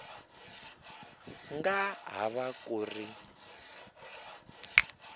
nga ha va ku ri